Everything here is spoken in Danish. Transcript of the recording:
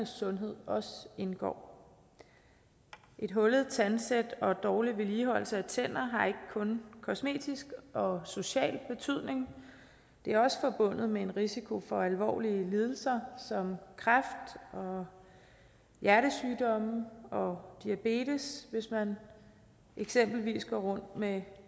sundhed også indgår et hullet tandsæt og dårlig vedligeholdelse af tænder har ikke kun kosmetisk og social betydning det er også forbundet med en risiko for alvorlige lidelser som kræft og hjertesygdomme og diabetes hvis man eksempelvis går rundt med